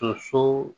So